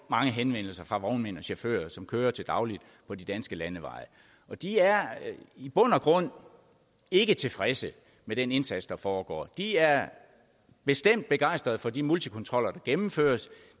mange henvendelser fra vognmænd og chauffører som kører til daglig på de danske landeveje og de er i bund og grund ikke tilfredse med den indsats der foregår de er bestemt begejstrede for de multikontroller der gennemføres